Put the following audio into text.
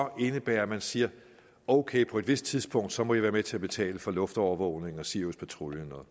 indebære at man siger ok på det tidspunkt så må i være med til at betale for luftovervågning og siriuspatruljen og